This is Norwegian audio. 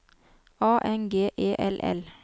A N G E L L